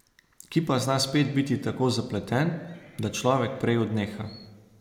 Ki pa zna spet biti tako zapleten, da človek prej odneha.